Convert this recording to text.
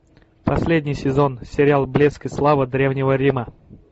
последний сезон сериал блеск и слава древнего рима